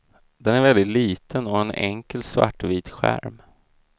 Den är väldigt liten och har en enkel svartvit skärm.